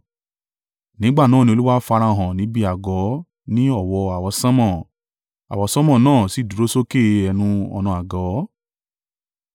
Nígbà náà ni Olúwa farahàn níbi àgọ́ ní ọ̀wọ́ àwọsánmọ̀, àwọsánmọ̀ náà sì dúró sókè ẹnu-ọ̀nà àgọ́.